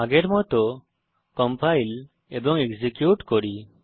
আগের মত কম্পাইল এবং এক্সিকিউট করুন